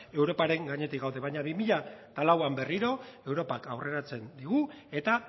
europaren gainetik gaude baina bi mila lauan berriro europak aurreratzen digu eta